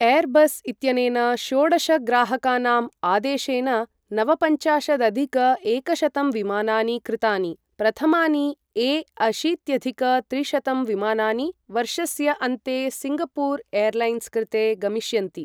Airbus इत्यनेन षोडश ग्राहकानाम् आदेशेन नवपञ्चाशदधिक एकशतं विमानानि कृतानि, प्रथमानि ए अशीत्यधिक त्रिशतं विमानानि वर्षस्य अन्ते सिङ्गपूर् एर्लैन्स् कृते गमिष्यन्ति।